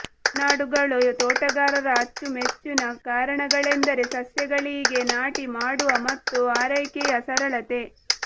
ಮನಾಡುಗಳು ತೋಟಗಾರರ ಅಚ್ಚುಮೆಚ್ಚಿನ ಕಾರಣಗಳೆಂದರೆ ಸಸ್ಯಗಳಿಗೆ ನಾಟಿ ಮಾಡುವ ಮತ್ತು ಆರೈಕೆಯ ಸರಳತೆ